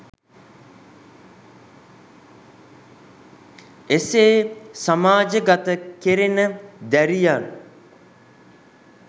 එසේ සමාජගත කෙරෙන දැරියන්